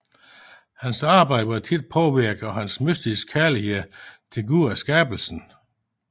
Hans arbejde var ofte påvirket af hans mystiske kærlighed til Gud og skabelsen